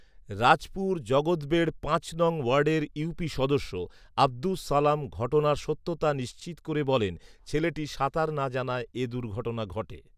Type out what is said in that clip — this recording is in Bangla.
রাজপুর জগতবেড় পাঁচ নং ওয়ার্ডের ইউপি সদস্য আব্দুস সালাম ঘটনার সত্যতা নিশ্চিত করে বলেন, ছেলেটি সাঁতার না জানায় এ দুর্ঘটনা ঘটে